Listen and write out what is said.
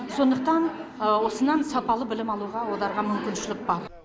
сондықтан осыннан сапалы білім алуға одарға мүмкіншілік бар